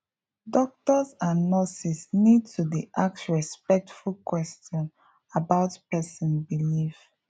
doctors and nurses need to dey ask respectful question about person belief